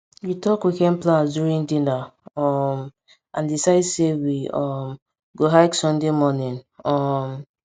we talk weekend plans during dinner um and decide sey we um go hike sunday morning um